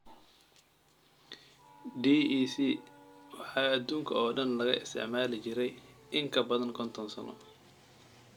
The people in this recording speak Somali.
DEC waxaa aduunka oo dhan laga isticmaali jiray in ka badan konton sano.